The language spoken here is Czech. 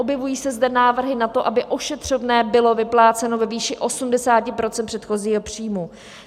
Objevují se zde návrhy na to, aby ošetřovné bylo vypláceno ve výši 80 % předchozího příjmu.